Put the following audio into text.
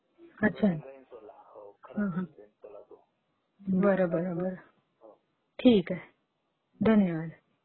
अच्छा. हां हां. बरं बरं बरं, ठीक आहे, धन्यवाद !